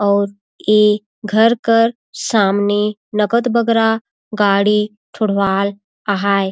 औ ए घर कर सामने नकद बगरा गाड़ी ठोड़वाल आहय।